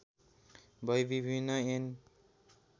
भई विभिन्न ऐन